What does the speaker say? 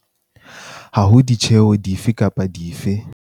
Ha ho ditjeho di fe kapa dife.